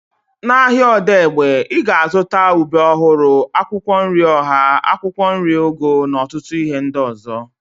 Na ahịa Odegbe, ị ga-azụta ube ọhụrụ, akwụkwọ nri ọha, akwụkwọ nri ugu na ọtụtụ ihe ndị ọzọ